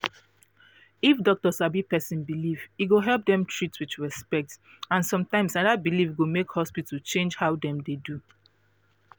if doctor sabi person belief e go help dem treat with respect and sometimes na that belief go make hospital change how dem dey do